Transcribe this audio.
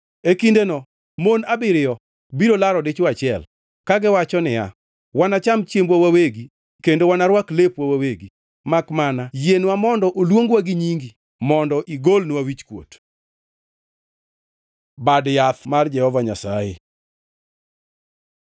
E kindeno mon abiriyo biro laro dichwo achiel, kagiwacho niya, “Wanacham chiembwa wawegi kendo wanarwak lepwa wawegi, makmana yienwa mondo oluongwa gi nyingi mondo igolnwa wichkuot!” Bad Yath mar Jehova Nyasaye